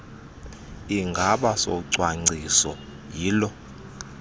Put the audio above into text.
sigaba socwangciso yiloo